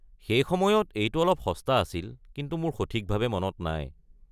সেই সময়ত এইটো অলপ সস্তা আছিল, কিন্তু মোৰ সঠিকভাৱে মনত নাই।